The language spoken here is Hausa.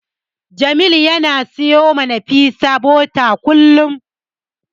Jamil yana siyowa Nafisa bota kullum.